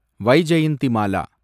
Vyjayanthimala